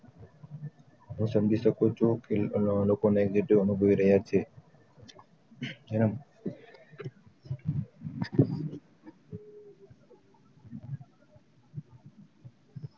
હવે સમજી શકું છું કે લોક ને negative અનુભવ રહ્યા છે